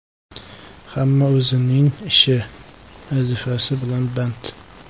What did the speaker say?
Hamma o‘zining ishi, vazifasi bilan band.